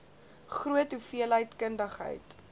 groot hoeveelheid kundigheid